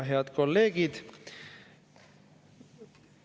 Head kolleegid!